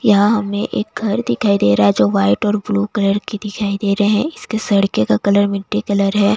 यहां हमें एक घर दिखाई दे रहा है जो व्हाइट और ब्लू कलर की दिखाई दे रहे हैं इसके सड़के का कलर मिट्टी कलर है।